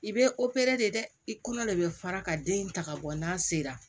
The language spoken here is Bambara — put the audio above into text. I bɛ de dɛ i kɔnɔ de bɛ fara ka den in ta ka bɔ n'a sera